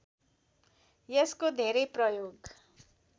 यसको धेरै प्रयोग